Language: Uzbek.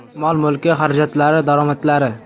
Mol-mulki, xarajatlari, daromadlari.